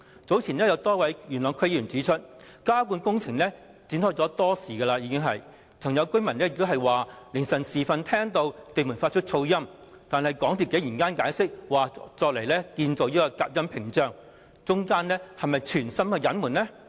早前有多位元朗區議會議員指出，加固工程已展開多時，有附近居民曾在凌晨時分聽到地盤發出噪音，但港鐵公司竟然解釋有關工程是為了建造隔音屏障，這是否存心隱瞞？